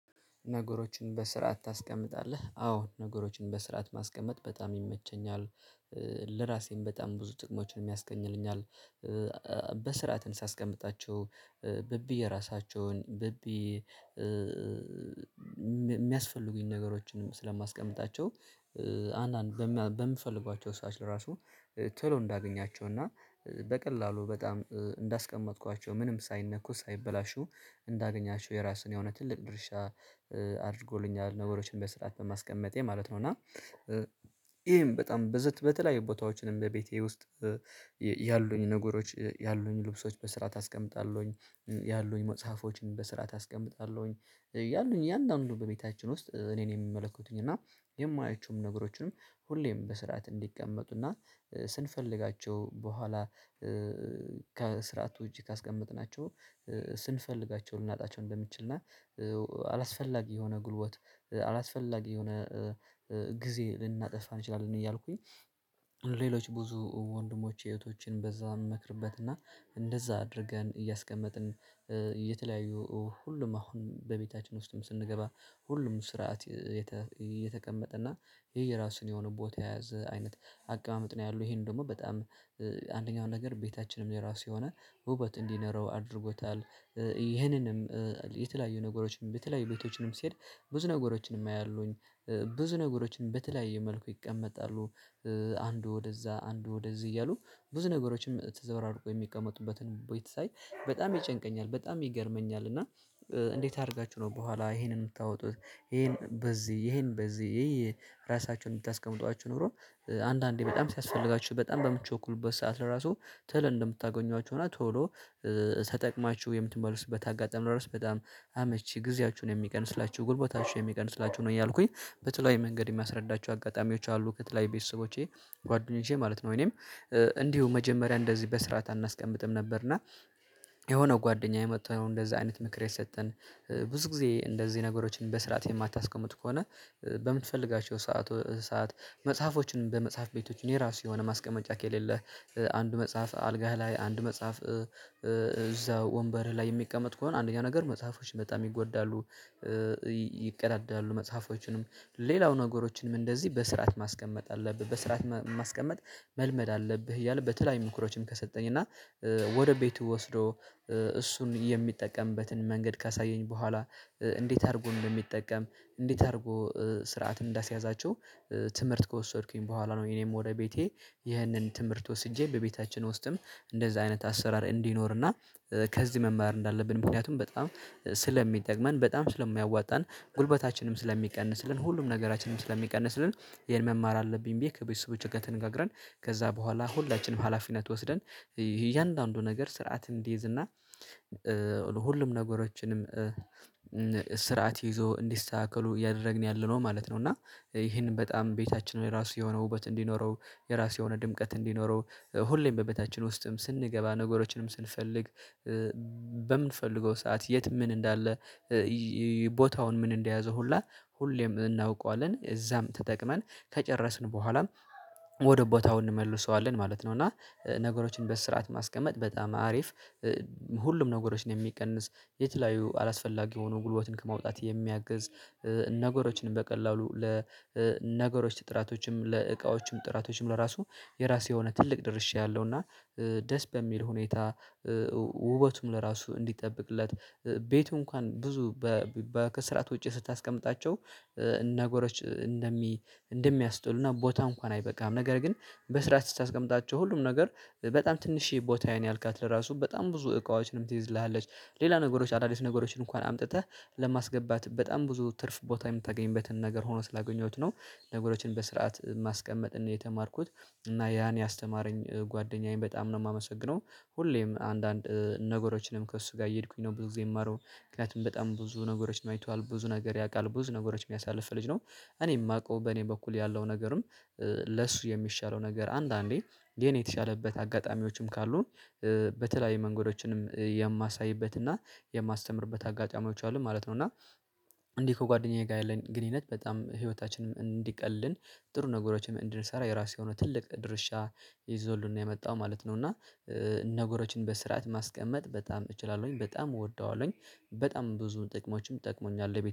ነገሮችን በስርዓት ታስቀምጣለህ አዎ ነገሮችን በስርዓት ማስቀመጥ በጣም ይመቸኛል። ለራሴም በጣም ብዙ ጥቅሞችን ያስገኘኛል። በስርዓትን ሳስቀምጣቸው በቢ የራሳቸውን በቢ ሚያስፈልጉኝን ነገሮችን ስለማስቀምጣቸው አንዳንድ በሚፈልጓቸው ሰዓት ራሱ ቶሎ እንዳገኛቸው እና በቀላሉ በጣም እንዳስቀመጥኳቸው ምንም ሳይነኩ ሳይበላሹ እንዳገኛቸው የራሱን የሆነ ትልቅ ድርሻ አድርጎልኛል። ነገሮችን በስርዓት በማስቀመጤ ማለት ነው። እና እሄም በጣም በዘት በተለያዩ ቦታዎችንም በቤቴ ውስጥ ያሉኝ ነገሮች ያሉኝ ልብሶች በስርዓት ኣስቀምጣለሁኝ ያሉኝ መጽሐፎችን በስርዓት ኣስቀምጣለሁኝ። ያሉኝ እያንዳንዱ በቤታችን ውስጥ እኔን የሚመለከቱኝ እና የማያቸውም ነገሮችን ሁሌም በስርዓት እንዲቀመጡና ስንፈልጋቸው በኋላ ከስርዓቱ ውጭ ካስቀመጥናቸው ስንፈልጋቸው ልናጣቸው እንደምንችል እና አላስፈላጊ የሆነ ጉልበት አላስፈላጊ የሆነ ጊዜ ልናጠፋ እንችላለን። እያልኩኝ ሌሎች ብዙ ወንድሞቼ እህቶቼን በዛ እንመክርበትና እንደዛ አድርገን እያስቀመጥን የተለያዩ ሁሉም አሁን በቤታችን ውስጥም ስንገባ ሁሉም ስርዓት እየተቀመጠ እና የየራሱን የሆነ ቦታ የያዘ አይነት አቀማመጥ ነው። ያለው ይሄን ደግሞ በጣም አንደኛው ነገር ቤታችንም የራሱ የሆነ ውበት እንዲኖረው አድርጎታል። ይሄንንም የተለያዩ ነገሮችን በተለያዩ ቤቶችንም ሲሄድ ብዙ ነገሮችንም አያለሁኝ ብዙ ነገሮችን በተለያዩ መልኩ ይቀመጣሉ። አንዱ ወደዛ አንዱ ወደዚህ እያሉ ብዙ ነገሮችን ተዘባራርቆው የሚቀመጡበትን ቦታ ሳይ በጣም ይጨንቀኛል በጣም ይገርመኛል። እና እንዴት አድርጋችሁ ነው ከኋላ ይሄንን የምታወጡት ይሄን በዚህ ይሄን በዚህ ራሳችሁን ብታስቀምጧቸው ኖሮ አንዳንዴ በጣም ሲያስፈልጋችሁ በጣም በምቾኩልበት ሰዓት ራሱ ተሎ እንደምታገኟቸው እና ቶሎ ተጠቅማችሁ የምትመልሱበት አጋጣሚ ራሱ በጣም አመቺ ጊዜያችሁን የሚቀንስላችሁ ጉልበታችሁ የሚቀንስላችሁ ነው። እያልኩኝ በተለይ መንገድ እሚያስረዳቸው አጋጣሚዎች አሉ ከተለያዩ ቤተሰቦቼ ጓደኞቼ ማለት ነው። እኔም እንዲሁ መጀመሪያ እንደዚህ በስርዓት አናስቀምጥም ነበር። እና የሆነው ጓደኛዬ መጥቶ አሁን እንደዛ አይነት ምክር እየሰጠን ብዙ ጊዜ እንደዚህ ነገሮችን በስርዓት የማታስቀምጥ ከሆነ በምትፈልጋቸው ሰዓቶ ሰዓት መጽሐፎችን በመጽሐፍ ቤቶች የራሱ የሆነ ማስቀመጫ ከሌለህ አንድ መጽሐፍ አልጋህ ላይ አንድ መጽሐፍ እዛ ወንበር ላይ የሚቀመጥ ከሆነ አንደኛ ነገር መጽሐፎች በጣም ይጎዳሉ። ይቀዳዳሉ መጽሐፎችንም ሌላው ነገሮችንም እንደዚህ በስርዓት ማስቀመጥ አለብህ በስርዓት ማስቀመጥ መልመድ ኣለብህ። እያልን በተለያዩ ምክሮችን ከሰጠኝ እና ወደ ቤቱ ወስዶ እሱን የሚጠቀምበትን መንገድ ካሳየኝ በኋላ እንዴት አድርጎ ነው እንዲሚጠቀም እንዴት አድርጎ ስርዓት እንዳስያዛቸው ትምህርት ከወሰድኩኝ በኋላ ነው። እኔም ወደ ቤቴ ይህንን ትምህርት ወስጄ በቤታችን ውስጥም እንደዛ አይነት አሰራር እንዲኖርና ከዚህ መማር እንዳለብን ምክንያቱም በጣም ስለሚጠቅመን በጣም ስለሚያዋጣን ጉልበታችንም ስለሚቀንስልን ሁሉም ነገራችንም ስለሚቀንስልን ይሄን መማር አለብኝ። ብዬ ከቤተሰቦቼ ጋር ተነጋግረን ከዛ በኋላ ሁላችንም ሀላፊነት ወስደን እያንዳንዱ ነገር ስርዓት እንዲይዝ እና ሁሉም ነገሮችንም ስርዓት ይዞ እንዲስተካከሉ እያደረግን ያለነው ማለት ነው። እና ይሄንን በጣም ቤታችን የራሱ የሆነ ውበት እንዲኖረው የራሱ የሆነ ድምቀት እንዲኖረው ሁሌም በቤታችን ውስጥም ስንገባ ነገሮችንም ስንፈልግ በምንፈልገው ሰዓት የት ምን እንዳለ ቦታውን ምን እንደያዘ ሁላ ሁሌም እናውቀዋለን እዛም ተጠቅመን ከጨረስን በኋላም ወደ ቦታው እንመልሰዋለን ማለት ነው። እና ነገሮችን በስርዓት ማስቀመጥ በጣም አሪፍ ሁሉም ነገሮችን የሚቀንስ የተለያዩ አላስፈላጊ የሆኑ ጉልበትን ከማውጣት የሚያግዝ ነገሮችንም በቀላሉ ለነገሮች ጥራቶችም ለእቃዎችም ጥራቶችም ለራሱ የራሱ የሆነ ትልቅ ድርሻ ያለው እና ደስ በሚል ሁኔታ ውበቱም ለራሱ እንዲጠብቅለት ቤቱ እንኳን ብዙ በ ከስርዓት ውጪ ስታስቀምጣቸው ነጎሮች እንደሚ እንደሚያስጠሉና ቦታ እንኳን አይበቃም ነገር ግን በስርዓት ስታስቀምጣቸው ሁሉም ነገር በጣም ትንሽዬ ቦታዬን ያልካት ለራሱ በጣም ብዙ እቃዎችንም ትይዝልሃለች ሌላ ነገሮች አዳዲስ ነገሮችን እንኳን አምጥተህ ለማስገባት በጣም ብዙ ትርፍ ቦታ የምታገኝበትን ነገር ሆኖ ስላገኘሁት ነው። ነገሮችን በስርዓት ማስቀመጥን የተማርኩት እና ያን ያስተማረኝ ጓደኛዬን በጣም ነው ማመሰግነው። ሁሌም አንዳንድ ነገሮችንም ከእሱ ጋ እየሄድኩኝ ነው ብዙ ጊዜ የምማረውን ምክንያቱም በጣም ብዙ ነገሮችን አይቷል ብዙ ነገር ያቃል ብዙ ነገሮች ያሳለፈ ልጅ ነው። እኔ እማውቀው በኔ በኩል ያለው ነገርም ለሱ የሚሻለው ነገር አንዳንዴ የኔ የተሻለበት አጋጣሚዎችም ካሉም በተለያዩ መንገዶችንም የማሳይበት እና የማስተምርበት አጋጣሚዎች አሉ ማለት ነው። እና እንዲህ ከጓደኛዬ ጋር ያለን ግንኙነት በጣም ህይወታችንን እንዲቀልልን ጥሩ ነገሮችን እንድንሰራ የራሱ የሆነ ትልቅ ድርሻ ይዞልን ነው የመጣው ማለት ነው። እና ነገሮችን በስርዓት ማስቀመጥ በጣም እችላለሁኝ በጣም እወደዋለሁኝ በጣም ብዙ ጥቅሞችም ጠቅሞኛል